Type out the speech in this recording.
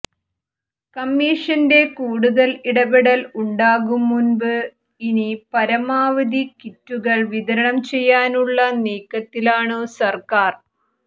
കമ്മിഷന്റെ കൂടുതൽ ഇടപെടൽ ഉണ്ടാകും മുൻപ് ഇനി പരമാവധി കിറ്റുകൾ വിതരണം ചെയ്യാനുള്ള നീക്കത്തിലാണു സർക്കാർ